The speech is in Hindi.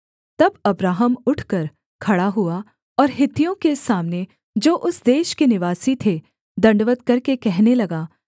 तब अब्राहम उठकर खड़ा हुआ और हित्तियों के सामने जो उस देश के निवासी थे दण्डवत् करके कहने लगा